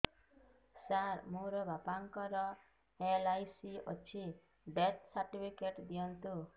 ସାର ମୋର ବାପା ଙ୍କର ଏଲ.ଆଇ.ସି ଅଛି ଡେଥ ସର୍ଟିଫିକେଟ ଦିଅନ୍ତୁ